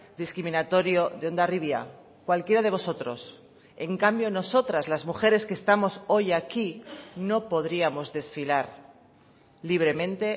discriminatorio de hondarribia cualquiera de vosotros en cambio nosotras las mujeres que estamos hoy aquí no podríamos desfilar libremente